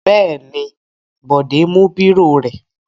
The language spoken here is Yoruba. Bẹ́ẹ̀ ni, Bọ̀dé mú bírò rẹ̀.